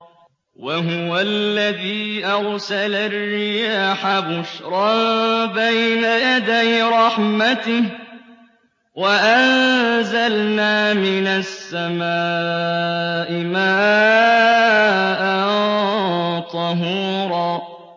وَهُوَ الَّذِي أَرْسَلَ الرِّيَاحَ بُشْرًا بَيْنَ يَدَيْ رَحْمَتِهِ ۚ وَأَنزَلْنَا مِنَ السَّمَاءِ مَاءً طَهُورًا